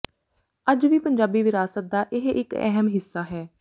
ਅੱਜ ਵੀ ਪੰਜਾਬੀ ਵਿਰਾਸਤ ਦਾ ਇਹ ਇੱਕ ਅਹਿਮ ਹਿੱਸਾ ਹੈ